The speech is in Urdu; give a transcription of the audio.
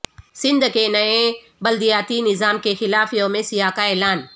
سندھ کے نئے بلدیاتی نظام کے خلاف یوم سیاہ کا اعلان